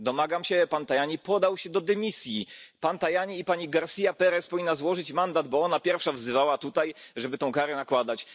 Domagam się, aby Pan Tajani podał się do dymisji Pan Tajani i Pani García Pérez powinna złożyć mandat, bo ona pierwsza wzywała tutaj, żeby tę karę nakładać.